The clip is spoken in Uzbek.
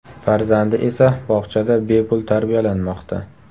Farzandi esa bog‘chada bepul tarbiyalanmoqda.